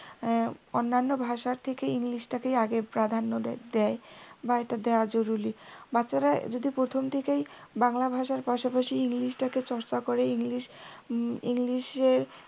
অন্যান্য ভাষার থেকে english টাকেই আগে প্রাধান্য দেয় বা এটা দেওয়া জরুরী বাচ্চারা যদি প্রথম থেকেই বাংলা ভাষার পাশাপাশি english টাকে চর্চা করে englishenglish র